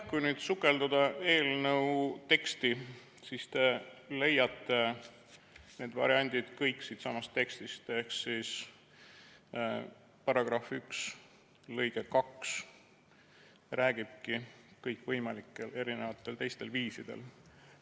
Kui sukelduda eelnõu teksti, siis te leiate need variandid kõik siitsamast tekstist, § 1 lõige 2 räägibki kõikvõimalikel teistel viisidel.